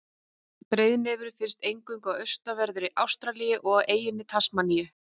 Breiðnefurinn finnst eingöngu í austanverðri Ástralíu og á eyjunni Tasmaníu.